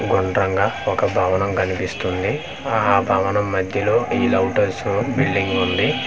గుండ్రంగ ఒక భవనం కన్పిస్తుంది ఆ భవనం మధ్యలో ఈ లవటర్స్ బిల్డింగ్ వుంది.